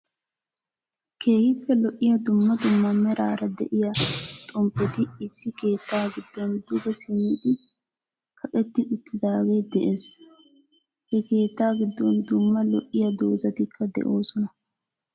Keehippe lo'iyaa dummaa dummaa meraara de'iyaa xommppeti issi keettaa giddon duge simmidi kaqqeti uttidagee de'ees. He keettaa giddon duummaa loiyaa doozatikka de'osonaa